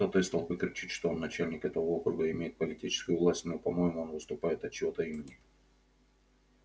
кто-то из толпы кричит что он начальник этого округа и имеет политическую власть но по-моему он выступает от чьего-то имени